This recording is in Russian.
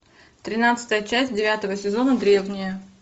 тринадцатая часть девятого сезона древние